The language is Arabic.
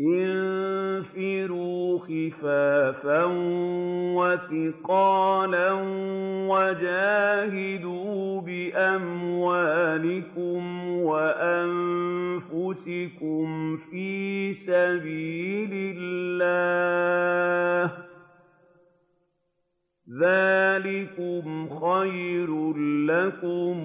انفِرُوا خِفَافًا وَثِقَالًا وَجَاهِدُوا بِأَمْوَالِكُمْ وَأَنفُسِكُمْ فِي سَبِيلِ اللَّهِ ۚ ذَٰلِكُمْ خَيْرٌ لَّكُمْ